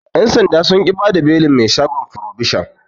Yan' sanda sun ƙi bada belin mai shagon frobishon.